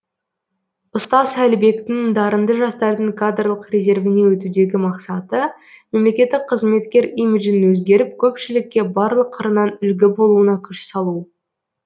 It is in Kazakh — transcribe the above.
ұстаз әлібектің дарынды жастардың кадрлық резервіне өтудегі мақсаты мемлекеттік қызметкер имиджін өзгеріп көпшілікке барлық қырынан үлгі болуына күш салу